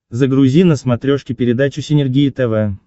загрузи на смотрешке передачу синергия тв